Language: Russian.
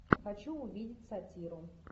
хочу увидеть сатиру